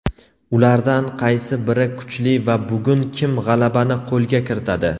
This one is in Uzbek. ulardan qaysi biri kuchli va bugun kim g‘alabani qo‘lga kiritadi?.